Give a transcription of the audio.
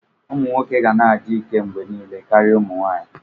Ụmụ nwoke ga na-adị ike mgbe niile karịa ụmụ nwanyị.